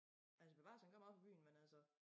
Altså bevares han kommer oppe i byen men altså